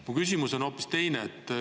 Aga mu küsimus on hoopis teine.